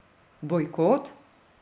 Bojkot?